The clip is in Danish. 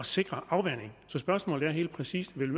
sikre afvanding så spørgsmålet er helt præcis vil